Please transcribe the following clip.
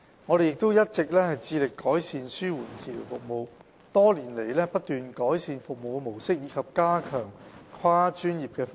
醫管局一直致力改善紓緩治療服務，多年來不斷改善服務模式及加強跨專業的服務。